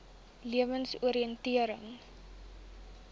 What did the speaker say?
lewensoriëntering